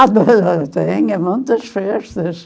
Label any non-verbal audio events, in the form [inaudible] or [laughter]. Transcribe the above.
[unintelligible] eu tenho muitas festas.